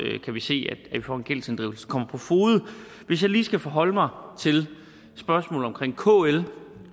se at vi får en gældsinddrivelse der kommer på fode hvis jeg lige skal forholde mig til spørgsmålet om kl